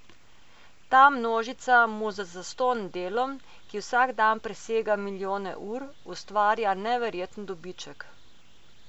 Ta množica mu z zastonj delom, ki vsak dan presega milijone ur, ustvarja neverjeten dobiček.